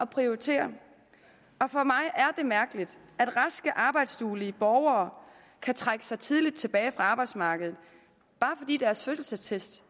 prioritere og for mig er det mærkeligt at raske arbejdsduelige borgere kan trække sig tidligt tilbage fra arbejdsmarkedet bare fordi deres fødselsattest